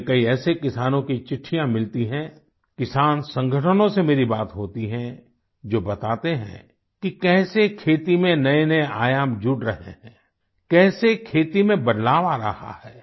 मुझे कई ऐसे किसानों की चिट्ठियाँ मिलती हैं किसान संगठनों से मेरी बात होती है जो बताते हैं कि कैसे खेती में नएनए आयाम जुड़ रहे हैं कैसे खेती में बदलाव आ रहा है